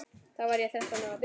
Þá var ég þrettán ára.